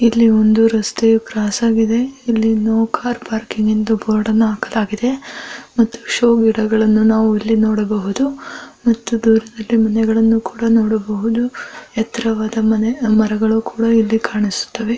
ಇಲ್ಲಿ ಒಂದು ರಸ್ತೆ ಕ್ರಾಸ್ ಆಗಿದೆ ಇಲ್ಲಿ ನೋ ಕಾರ್ ಪಾರ್ಕಿಂಗ್ ಎಂದು ಬೊರ್ಡುನ್ನು ಹಾಕಲಾಗಿದೆ ಮತ್ತು ಶೋ ಗಿಡಗಳನ್ನು ನಾವು ಇಲ್ಲಿ ನೋಡಬಹುದು ಎತ್ತರವಾದ ಮರಗಳು ಕೂಡ ಕಾಣಿಸುತ್ತೆ .